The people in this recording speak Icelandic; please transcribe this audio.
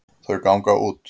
Þau ganga út.